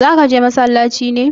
zaka je masallaci ne?